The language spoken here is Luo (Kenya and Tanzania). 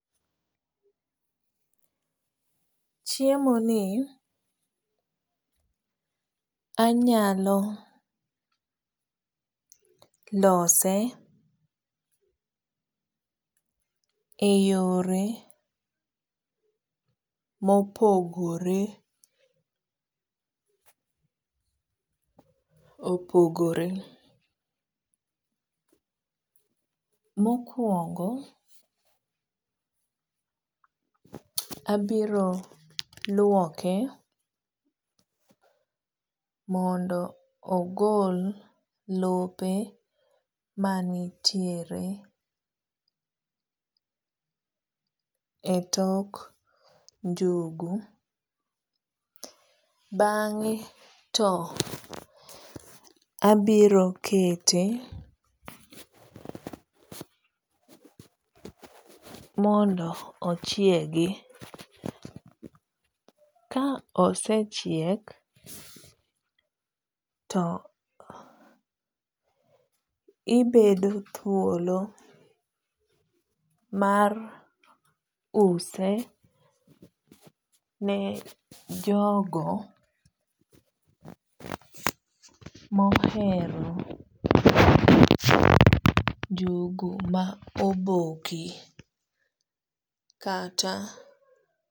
chiemo ni anyalo lose e yore mopogore opogre mokwongo abiro lwoke mondo agol lope manitiere e tok njugu bange to abiro kete mondo ochiegi. kaosechiek to ibedo thuolo mar use ne jogo mohero njugu maoboki kata